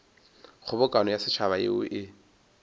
kgobokano ya setšhaba yeo e